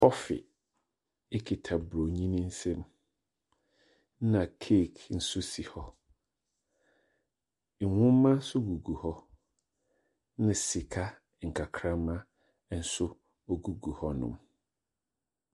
Kɔfe kita Oburoni no nsam., ɛna cake nso si hɔ. Nnwoma nso gugu hɔ, ɛna sika nkakramma nso guguhɔ non.